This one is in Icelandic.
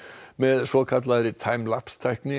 með svokallaðri time Lapse tækni